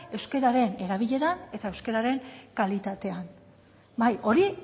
euskararen erabileran eta euskararen kalitatean bai hori